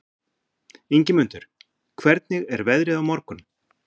Ingimundur, hvernig er veðrið á morgun?